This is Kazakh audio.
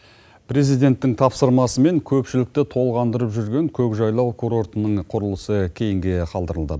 президенттің тапсырмасымен көпшілікті толғандырып жүрген көкжайлау курортының құрылысы кейінге қалдырылды